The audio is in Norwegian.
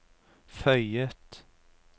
føyet